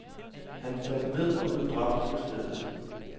Han faldt ned og blev dræbt på stedet.